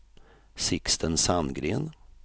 Sixten Sandgren